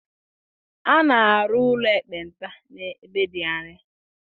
A na-arụ ụlọ ekpenta ebe dị anya.